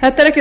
þetta er ekkert